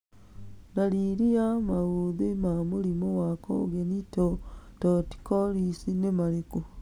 Ndariri na maũthĩ ma mũrimũ wa Congenital torticollis nĩ marĩkũ ?